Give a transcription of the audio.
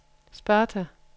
Sparta